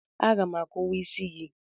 Aga m akuwa isi gị.